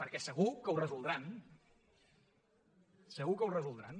perquè segur que ho resoldran segur que ho resoldran